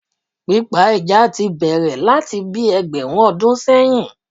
Pípa ẹja ti bẹ̀rẹ̀ láti bíi ẹgbẹ̀rún ọdún sẹ́yìn